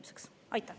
Aitäh!